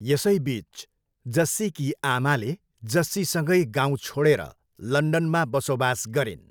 यसैबिच, जस्सीकी आमाले जस्सीसँगै गाउँ छोडेर लन्डनमा बसोबास गरिन्।